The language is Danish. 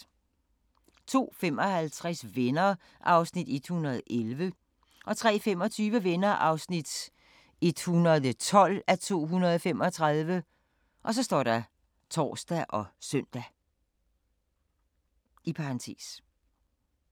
02:55: Venner (111:235) 03:25: Venner (112:235)(tor og søn)